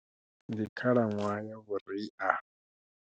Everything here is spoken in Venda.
Ndi khalaṅwaha ya vhuria.